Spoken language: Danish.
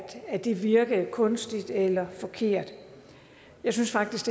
at det virkede kunstigt eller forkert jeg synes faktisk